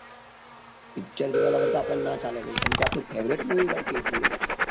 picture જોયા વગર તો આપણે ના ચાલે કેમ કે આપણું favourite movie ભાઈ kgf